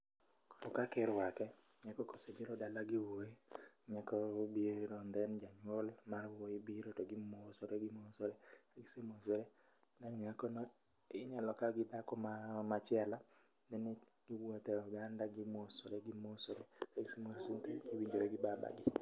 Koro kaka irwake, nyako kosebiro dala gi wuoyi, nyako biro then janyuol wuoyi biro. Gimosore gimosore, ka gise mosre, gimakre gi nyako machielo kaeto giwuotho e oganda ka gimosore gimosore